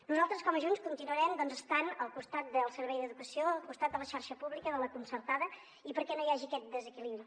nosaltres com a junts continuarem estant al costat del servei d’educació al costat de la xarxa pública de la concertada i perquè no hi hagi aquest desequilibri